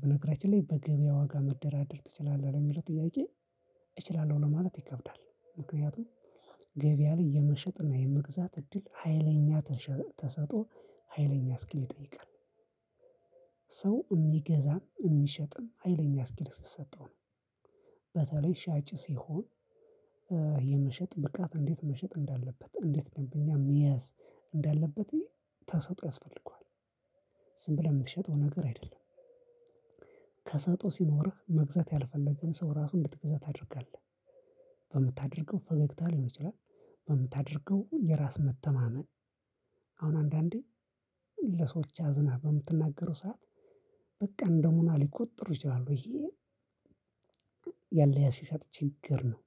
በነገራችን ላይ በገበያ ዋጋ መደራደር ትችላለህ ለሚለው ጥያቄ? እችላለሁ ለማለት ይከብዳል። ምክንያቱም ገበያ ላይ የመሸጥ እና የመግዛት እድል ሀይለኛ ተሸ ተሰጥኦ ሀይለኛ እስኪል ይጠይቃል። ሰው እሚገዛም እሚሸጥም ሀይለኛ እስኪል ሲሰጠው ነው። በተለይ ሻጭ ሲሆን የመሸጥ ብቃት እንዴት መሸጥ እንዳለበት እንዴት ደንበኛ መያዝ እንዳለበት ተሰጥኦ ያስፈልገዋል። ዝም ብለህ ምትሸጠው ነገር አይደለም። ከሰጥኦ ሲኖርህ መግዛት ያልፈለገን ሰው ራሱ እንድትገዛ ታደርጋለህ። በምታደርገው ፈገግታ ሊሆን ይችላል። በምታደርገው የራስ መተማመን አሁን አንዳንዴ ለሰዎች አዝነህ በምትናገረው ሰዓት በቃ እንደገና ሊቆጥሩ ይችላሉ ይሄ። ያሻሻጥ ችግር ነው።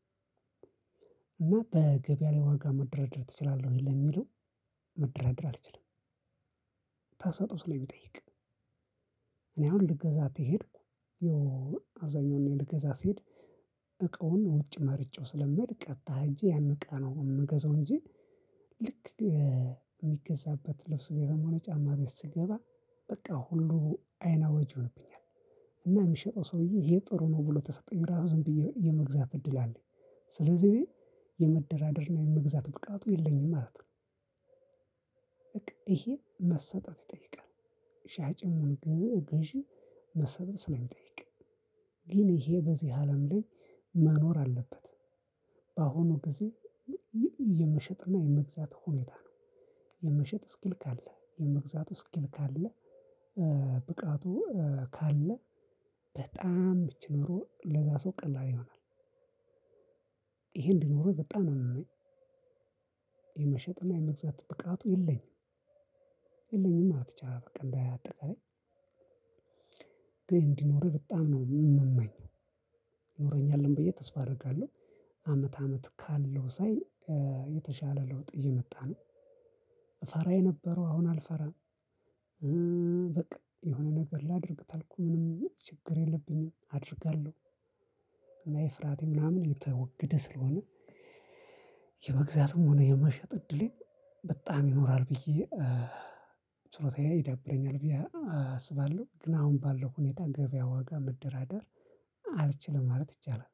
እና በገበያ ላይ ዋጋ መደራደር ትችላለህ ወይ ለሚለው? መደራደር አልችልም። ተሰጥኦ ስለሚጠይቅ። እኔ አሁን ልገዛ ተሄድኩ ያው አብዛኛውን እኔ ልገዛ ስሄድ እቃውን ውጭ መርጬው ስለምሄድ ቀጥታ ሄጄ ያን እቃ ነው እምገዛው እንጂ። ልክ እሚገዛበት ልብስ ቤትም የሆነ ጫማ ቤት ስገባ በቃ ሁሉ አይን አዋጅ ይሆንብኛል። እና የሚሸጠው ሰውዬ ይሄ ጥሩ ነው ብሎ ተሰጠኝ ራሱ ዝም ብዬ የመግዛት እድል አለኝ። ስለዚህ እኔ የመደራደር እና የመግዛት ብቃቱ የለኝም ማለት ነው። በቃ ይሄ መሰጠት ይጠይቃል። ሻጭም ሁን ገዚ ገዢ መሰብን ስለሚጠይቅ። ግን ይሄ በዚህ አለም ላይ መኖር አለበት። በአሁኑ ጊዜ የመሸጥ እና የመግዛት ሁኔታ ነው። የመሸጥ እስኪል ካለህ የመግዛቱ እስኪል ካለ ብቃቱ ካለ በጣም እቺ ኑሮ ለዛ ሰው ቀላል ይሆናል። ይሄ እንዲኖረኝ በጣም ነው ምመኝ። የመሸጥ እና የመግዛት ብቃቱ የለኝም የለኝም ማለት ይቻላል። በቃ እንደአጠቃላይ። ግን እንዲኖርህ በጣም ነው ምመኝ ይኖረኛልም ብዬ ተስፋ አረጋለሁ። አመት አመት ካለው ሳይ የተሻለ ለውጥ እየመጣ ነው። እፈራ የነበረው አሁን አልፈራም። በቃ የሆነ ነገር ላድርግ ታልኩ ምንም ችግር የለብኝም አደርጋለሁ። የፍርሃቴ ምናምን እየተወገደ ስለሆነ። የመግዛትም ሆነ የመሸጥ እድሌ በጣም ይኖራል ብዬ ችሎታዬ ይዳብረኛል ብዬ አስባለሁ። ግን አሁን ባለው ሁኔታ ገበያ ዋጋ መደራደር አልችልም ማለት ይቻላል።